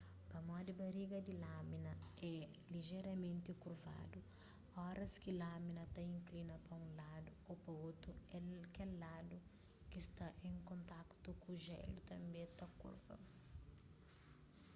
pamodi bariga di lamina é lijeramenti kurvadu óras ki lamina ta inklina pa unladu ô pa otu kel ladu ki sta en kontakutu ku jélu tanbê ta kurva